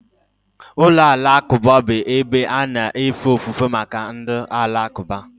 Ụlọ alakụba bụ ebe a na-efe ofufe maka ndị Alakụba